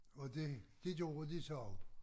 Og det det gjorde de så